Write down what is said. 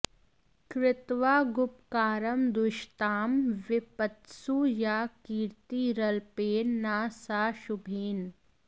कृत्वागुपकारं द्विषतां विपत्सु या कीर्तिरल्पेन न सा शुभेन